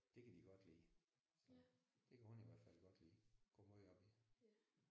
Det kan de godt lide. Det kan hun i hvert fald godt lide går meget op i det